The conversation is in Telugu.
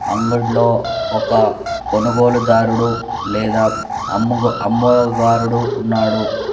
అంగుడ్లో ఒక కొనుగోలుదారుడు లేదా అమ్ముగో అమ్మోగారుడు ఉన్నాడు.